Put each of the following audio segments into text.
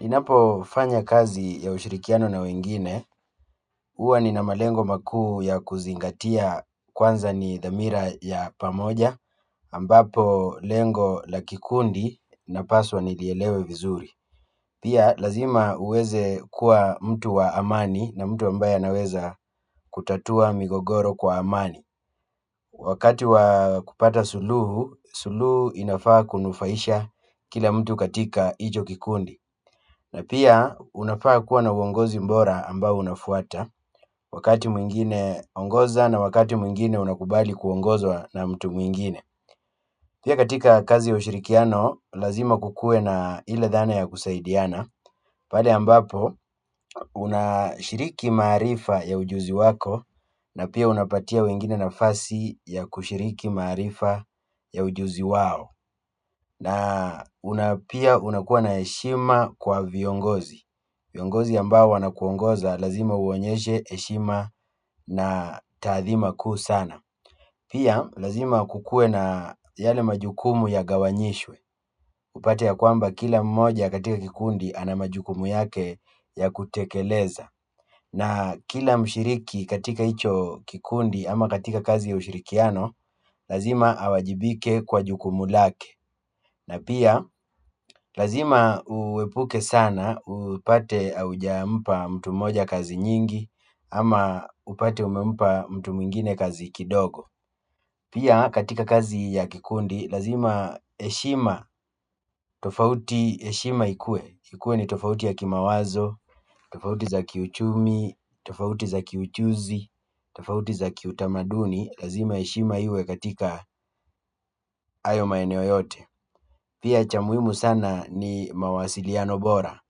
Ninapo fanya kazi ya ushirikiano na wengine, huwa nina malengo makuu ya kuzingatia kwanza ni dhamira ya pamoja, ambapo lengo la kikundi napaswa nilielewe vizuri. Pia lazima uweze kuwa mtu wa amani na mtu ambaye anaweza kutatua migogoro kwa amani. Wakati wa kupata suluhu, suluhu inafaa kunufaisha kila mtu katika hicho kikundi. Na pia unafaa kuwa na uongozi bora ambao unafuata wakati mwingine ongoza na wakati mwingine unakubali kuongozwa na mtu mwingine pia katika kazi ya ushirikiano, lazima kuwe na ile dhana ya kusaidiana pale ambapo unashiriki maarifa ya ujuzi wako na pia unapatia wengine nafasi ya kushiriki maarifa ya ujuzi wao na pia unakuwa na heshima kwa viongozi viongozi ambao wanakuongoza lazima uwaonyeshe heshima na taathima kuu sana pia lazima kukuwe na yale majukumu yagawanyishwe upate ya kwamba kila mmoja katika kikundi ana majukumu yake ya kutekeleza na kila mshiriki katika hicho kikundi ama katika kazi ya ushirikiano lazima awajibike kwa jukumu lake na pia, lazima uepuke sana, upate hauja mpa mtu mmoja kazi nyingi, ama upate umempa mtu mwingine kazi kidogo. Pia, katika kazi ya kikundi, lazima heshima, tofauti heshima ikue. Ikue ni tofauti ya kimawazo, tofauti za kiuchumi, tofauti za kiujuzi, tofauti za kiutamaduni, lazima heshima iwe katika hayo maeneo yote. Pia cha muhimu sana ni mawasiliano bora.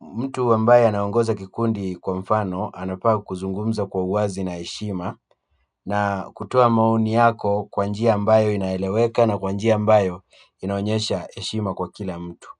Mtu ambaye anaongoza kikundi kwa mfano, anafaa kuzungumza kwa uwazi na heshima na kutoa maoni yako kwa njia ambayo inaeleweka na kwa njia ambayo inaonyesha heshima kwa kila mtu.